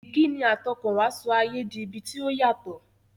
Ìkíni àtọkànwá sọ ayé di ibi tí ó yàtọ̀.